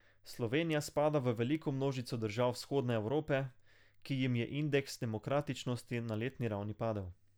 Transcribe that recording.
Slovenija spada v veliko množico držav Vzhodne Evrope, ki jim je indeks demokratičnosti na letni ravni padel.